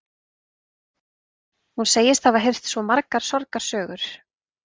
Hún segist hafa heyrt margar sorgarsögur